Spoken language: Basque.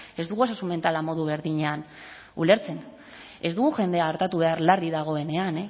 ez dugu osasun mentala modu berdinean ulertzen ez dugu jendea artatu behar larri dagoenean